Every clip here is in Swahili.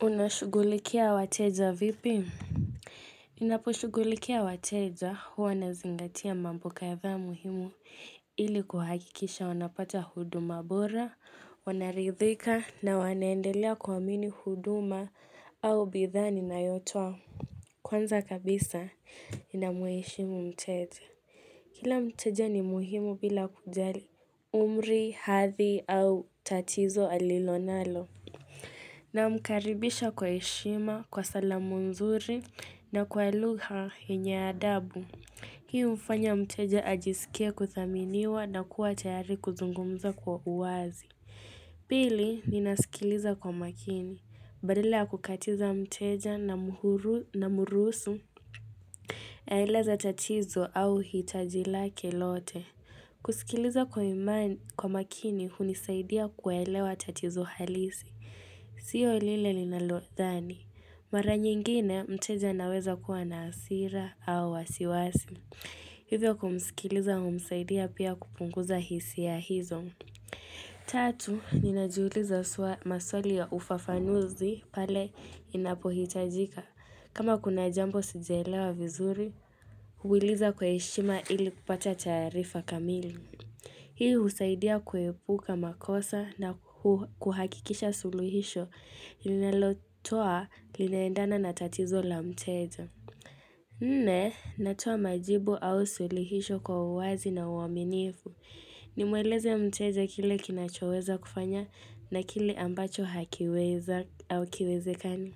Unashughulikia wateja vipi? Ninaposhughulikia wateja huwa nazingatia mambo kadhaa muhimu ili kuhakikisha wanapata huduma bora, wanaridhika na wanaendelea kuamini huduma au bidhaa ni na yotoa. Kwanza kabisa ninamuheshimu mteja. Kila mteja ni muhimu bila kujali umri, hathi au tatizo alilonalo. Na mkaribisha kwa heshima, kwa salamu nzuri na kwa lugha yenye adabu. Hii u mfanya mteja ajisikie kudhaminiwa na kuwa tayari kuzungumza kwa uwazi. Pili, ninasikiliza kwa makini. Badala ya kukatiza mteja namruhusu. Aeleza tatizo au hitaji lake lote. Kusikiliza kwa makini hunisaidia kuelewa tatizo halisi. Sio lile linalo dhani. Mara nyingine mteja aweza kuwa na hasira au wasiwasi. Hivyo kumsikiliza umsaidia pia kupunguza hisia hizo. Tatu, ninajiuliza swa maswali ya ufafanuzi pale inapohitajika. Kama kuna jambo sijaelewa vizuri, huuiliza kwa heshima ili kupata taarifa kamili. Hii husaidia kuepuka makosa na kuhakikisha suluhisho linalotoa linaendana na tatizo la mteja. Nne, natoa majibu au suluhisho kwa uwazi na uaminifu. Nimweleze mteja kile kinachoweza kufanya na kile ambacho hakiweza hakiwezekani.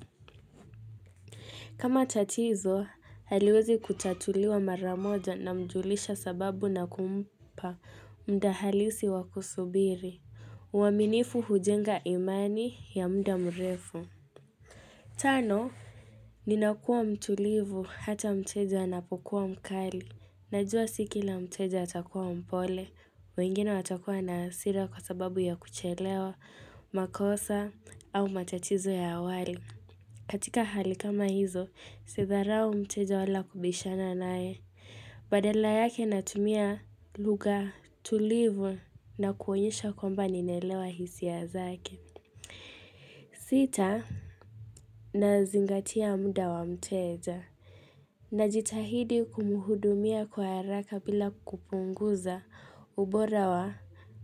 Kama tatizo, haliwezi kutatuliwa maramoja na mjulisha sababu na kumpa mda halisi wa kusubiri. Uaminifu hujenga imani ya mda mrefu. Tano, ninakuwa mtulivu ata mteja anapokuwa mkali. Najua si kila mteja atakuwa mpole. Wengine watakuwa na hasira kwa sababu ya kuchelewa, makosa au matatizo ya awali. Katika hali kama hizo, sidharau mteja wala kubishana naye. Badala yake natumia lugha tulivu na kuonyesha kwamba ninaelewa hisia zake. Sita nazingatia mda wa mteja. Najitahidi kumhudumia kwa haraka bila kupunguza ubora wa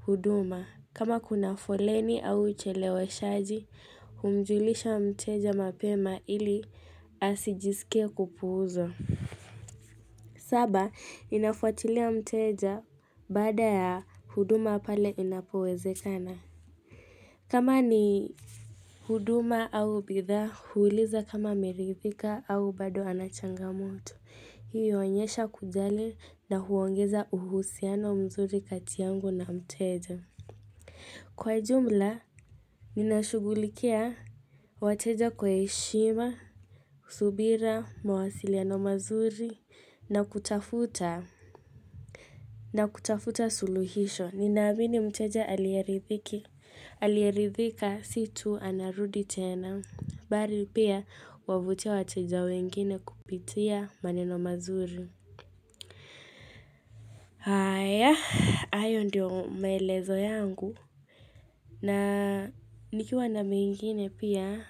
huduma kama kuna foleni au hucheleweshaji humjulisha mteja mapema ili asijiskie kupuuzwa saba ninafuatilia mteja baada ya huduma pale inapowezekana kama ni huduma au bidhaa huuliza kama ameridhika au bado anachangamoto Hii huonyesha kujali na huongeza uhusiano mzuri kati yangu na mteja. Kwa jumla, ninashugulikia wateja kwa heshima, subira, mawasiliano mazuri, na kutafuta. Na kutafuta suluhisho. Ninaamini mteja aliyeridhiki. Aliyeridhika si tu anarudi tena. Bali pia wavutia wateja wengine kupitia maneno mazuri. Haya hayo ndio maelezo yangu na nikiwa na mengine pia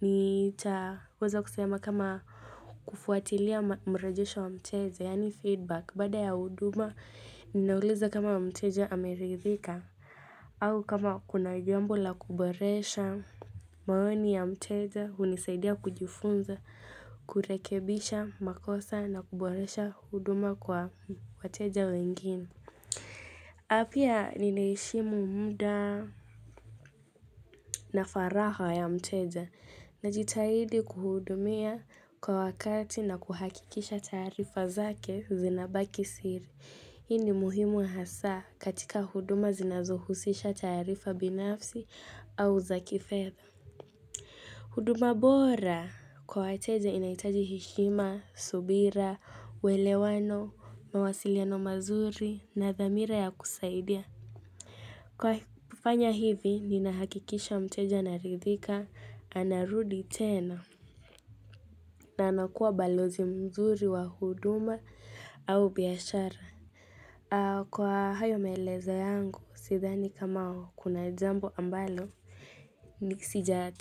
nitaweza kusema kama kufuatilia mrejesho wa mteja yaani feedback baada ya huduma ninauliza kama mteja ameridhika au kama kuna jambo la kuboresha maoni ya mteja hunisaidia kujifunza kurekebisha makosa na kuboresha huduma kwa wateja wengine. Na pia ninaheshimu muda na faraha ya mteja na jitahidi kuhudumia kwa wakati na kuhakikisha taarifa zake zinabaki siri Hii ni muhimu hasa katika huduma zinazuhusisha taarifa binafsi au za kifedha huduma bora kwa wateja inahitaji heshima, subira, uwelewano, mawasiliano mazuri na dhamira ya kusaidia Kwa kufanya hivi, nina hakikisha mteja ana ridhika, ana rudi tena, na anakuwa balozi mzuri wa huduma au biashara. Kwa hayo maelezo yangu, sidhani kama, kuna jambo ambalo, niki sija.